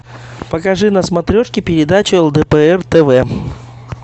покажи на смотрешке передачу лдпр тв